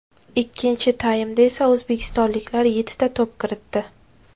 Ikkinchi taymda esa o‘zbekistonliklar yettita to‘p kiritdi.